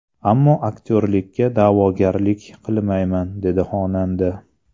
Ammo aktyorlikka da’vogarlik qilmayman”, dedi xonanda.